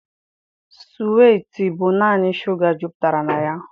Suwiiti bụ naanị shuga jupụtara na ya.